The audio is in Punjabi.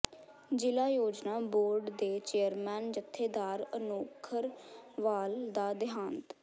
ਜ਼ਿਲ੍ਹਾ ਯੋਜਨਾ ਬੋਰਡ ਦੇ ਚੇਅਰਮੈਨ ਜਥੇਦਾਰ ਅਨੋਖਰਵਾਲ ਦਾ ਦੇਹਾਂਤ